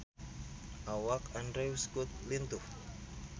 Awak Andrew Scott lintuh